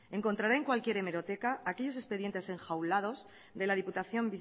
encontrará en cualquier hemeroteca aquellos expedientes enjaulados de la diputación